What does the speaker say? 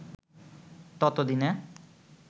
তত দিনে